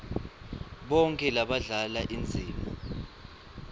bonkhe labadlala indzima